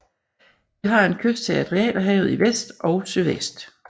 Det har en kyst til Adriaterhavet i vest og sydvest